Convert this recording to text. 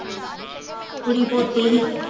ਕੁੜੀ ਪੋਤੀ ਸੀ